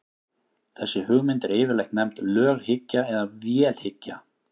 þessi hugmynd er yfirleitt nefnd löghyggja eða vélhyggja